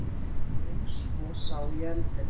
En svo sá ég eldinn.